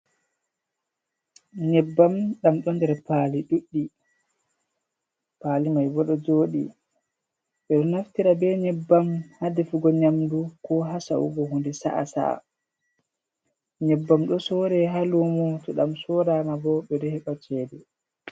Nyebbam ɗam ɗo nder paali ɗuɗɗi, paali maibo ɗo joɗi, ɓeɗo naftira be nyebbam haa defugo nyamdu, ko ha sa’ugo honde sa’a sa’a, nyebbam do sorre haa lumo, to ɗam sorama bo ɓe ɗo heɓa cede.